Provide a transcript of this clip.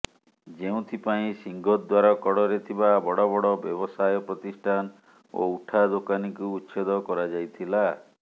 ଯେଉଁଥିପାଇଁ ସିଂହଦ୍ୱାର କଡରେ ଥିବା ବଡ ବଡ ବ୍ୟବସାୟ ପ୍ରତିଷ୍ଠାନ ଓ ଉଠା ଦୋକାନୀଙ୍କୁ ଉଚ୍ଛେଦ କରାଯାଇଥିଲା